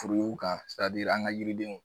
kan an ka yiridenw.